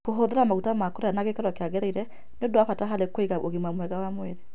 Kũhũthĩra maguta ma kũrĩa na gĩkĩro kĩagĩrĩire nĩ ũndũ wa bata harĩ kũiga ũgima mwega wa mwĩrĩ.